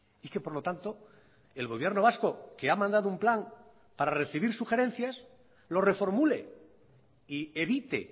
y que por lo tanto el gobierno vasco que ha mandado un plan para recibir sugerencias lo reformule y evite